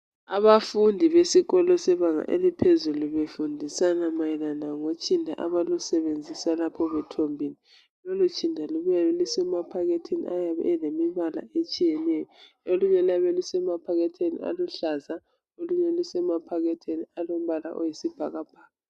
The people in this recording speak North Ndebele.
Abafundi besikolo sebanga eliphezulu befundisana mayelana lotshinda abalusebenzisayo nxa sebethombile. Lolutshinda lubuya lusemaphakethini ayabe elemibala etshiyeneyo, olunye luyabe lusemaphakethini aluhlaza olunye lusemaphakethini alombala oyisibhakabhaka.